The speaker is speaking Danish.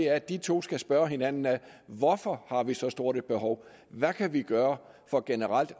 at de to skal spørge hinanden ad hvorfor har vi så stort et behov hvad kan vi gøre for generelt